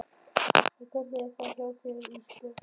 En hvernig er það hjá þér Ísbjörg?